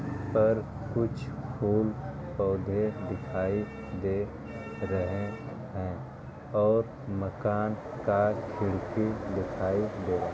पर कुछ फूल पौधे दिखाई दे रहै है और मकान का खिड़की दिखाई दे --